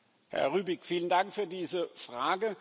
Herr Rübig, vielen Dank für diese Frage.